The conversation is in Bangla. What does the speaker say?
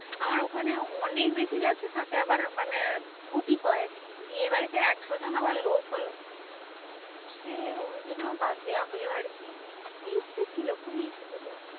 আমার ওখানে অনেকবেশি যাচ্ছে। সাথে আবার মানে গুটি কয়েক বিয়ে বাড়িতে একশজন আবার লোক হলো? সে ওই জন্য বাদ দেওয়া হলো আরকি। ইচ্ছে ছিল খুবই ইচ্ছে ছিল